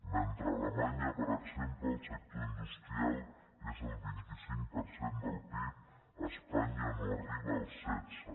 mentre a alemanya per exemple el sector industrial és el vint cinc per cent del pib a espanya no arriba al setze